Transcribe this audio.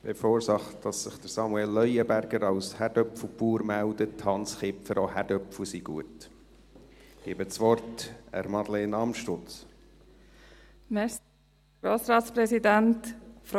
Bevor sich Samuel Leuenberger als Kartoffelbauer meldet: Hans Kipfer, auch Kartoffeln sind gut.